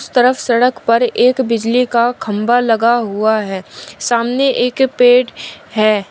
तरफ सड़क पर एक बिजली का खंभा लगा हुआ है सामने एक पेड़ है।